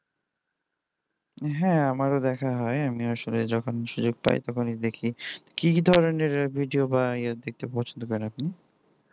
হ্যাঁ আমারও দেখা হয় যখন সময় পাই তখন দেখি আর কি তোকে কি কি ধরনের video বা ইয়ে দেখতে পছন্দ করেন আপনি